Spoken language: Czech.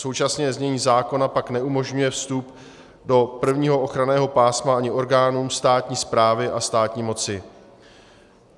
Současně znění zákona pak neumožňuje vstup do prvního ochranného pásma ani orgánům státní správy a státní moci.